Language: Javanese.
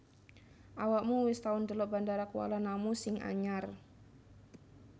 Awakmu wis tau ndelok Bandara Kuala Namu sing anyar